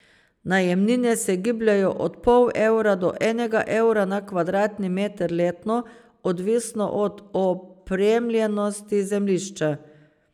Najemnine se gibljejo od pol evra do enega evra na kvadratni meter letno, odvisno od opremljenosti zemljišča.